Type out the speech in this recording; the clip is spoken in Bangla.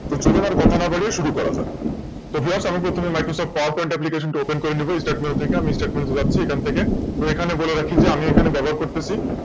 চলুন আর কথা না বাড়ি শুরু করা যাক তো Just আমি প্রথমে Microsoft টা Open করে নেব StartMenu থেকে আমি StartMenu যাচ্ছে তে তো এখানে বলে রাখি যে আমি এখানে ব্যবহার করতেছি